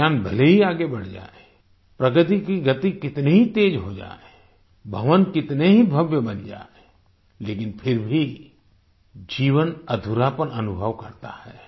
विज्ञान भले ही आगे बढ़ जाए प्रगति की गति कितनी ही तेज हो जाए भवन कितने ही भव्य बन जाए लेकिन फिर भी जीवन अधूरापन अनुभव करता है